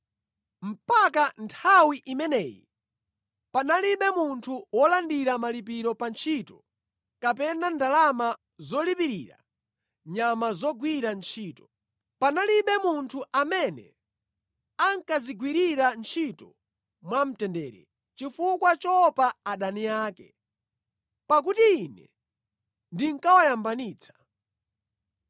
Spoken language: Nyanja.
Mpaka nthawi imeneyi panalibe munthu wolandira malipiro pa ntchito kapena ndalama zolipirira nyama zogwira ntchito. Panalibe munthu amene ankadzigwirira ntchito mwamtendere chifukwa choopa adani ake, pakuti Ine ndinkawayambanitsa.